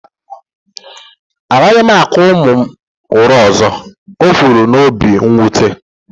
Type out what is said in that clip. A gaghị m akụ ụmụ m ụra ọzọ, o kwuru n'obi mwute